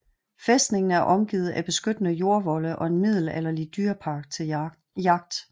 Fæstningen er omgivet af beskyttende jordvolde og en middelalderlig dyrepark til jagt